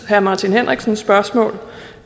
herre martin henriksens spørgsmål